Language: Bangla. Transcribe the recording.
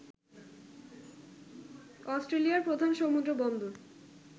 অস্ট্রেলিয়ার প্রধান সমুদ্র বন্দর